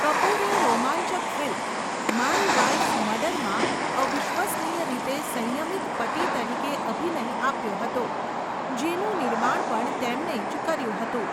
કપૂરે રોમાંચક ફિલ્મ 'માય વાઇફસ મર્ડર'માં અવિશ્વસનીય રીતે સંયમિત પતિ તરીકે અભિનય આપ્યો હતો, જેનું નિર્માણ પણ તેમણે જ કર્યું હતું.